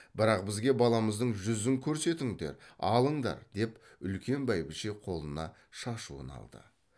бірақ бізге баламыздың жүзін көрсетіңдер алыңдар деп үлкен бәйбіше қолына шашуын алды